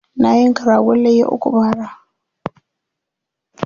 Na yanka ragon layya uku bara.